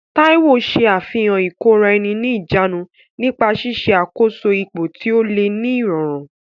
Taiwo ṣe àfihàn ìkóra-ẹni-níjàánu nípa ṣíṣe àkóso ipò tí ó le ní ìrọ̀rùn.